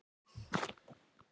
Ég gef honum ár.